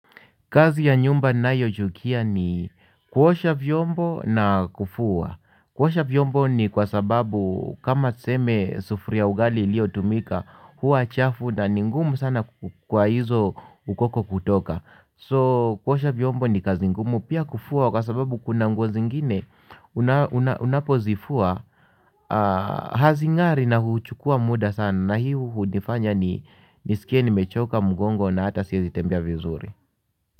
Kazi ya nyumba ninayoichukia ni kuosha vyombo na kufua. Kuosha vyombo ni kwa sababu kama tuseme sufuria ya ugali iliotumika huwa chafu na ni ngumu sana kwa hizo ukoko kutoka. So kuosha vyombo ni kazi ngumu pia kufuwa kwa sababu kuna nguo zingine unapozifua hazingari na huchukua muda sana na hii hunifanya ni nisikie nimechoka mgongo na hata siwezi tembea vizuri.